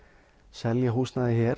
selja húsnæði hér